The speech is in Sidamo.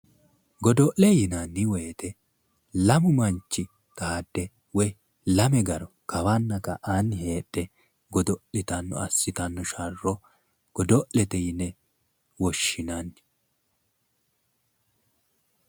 Godo'le yinanni woyte lamu manchi xaade woyi lame garo kawanna ka'aanni heedhe godo'litanno assitanno sharro godo'lete yine woshinanni